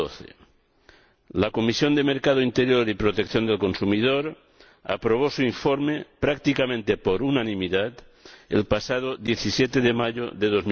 2012. La Comisión de Mercado Interior y Protección del Consumidor aprobó su informe, prácticamente por unanimidad, el pasado 17 de mayo de